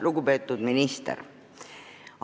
Lugupeetud minister!